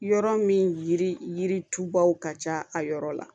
Yɔrɔ min yiri yiritubaw ka ca a yɔrɔ la